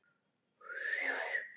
Hann bankaði upp á fyrir fimm mínútum.